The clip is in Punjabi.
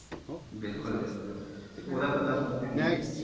ਬਿਲਕੁੱਲ ਬਿਲਕੁੱਲ ਉਹਦਾ ਬੰਦਾ ਬੁੰਦਾਂ ਹੈਨੀ ਜੇ?